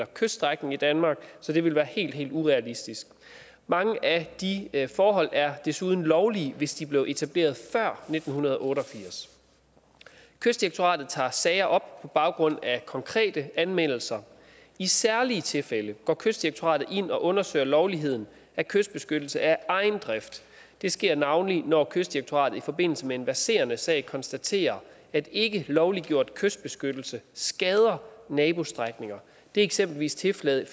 kyststrækning i danmark så det ville være helt helt urealistisk mange af de forhold er desuden lovlige hvis de blev etableret før nitten otte og firs kystdirektoratet tager sager op på baggrund af konkrete anmeldelser i særlige tilfælde går kystdirektoratet ind og undersøger lovligheden af kystbeskyttelse af egen drift det sker navnlig når kystdirektoratet i forbindelse med en verserende sag konstaterer at ikkelovliggjort kystbeskyttelse skader nabostrækninger det er eksempelvis tilfældet